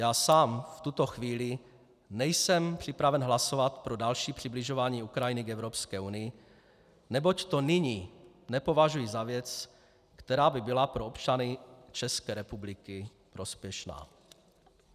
Já sám v tuto chvíli nejsem připraven hlasovat pro další přibližování Ukrajiny k Evropské unii, neboť to nyní nepovažuji za věc, která by byla pro občany České republiky prospěšná.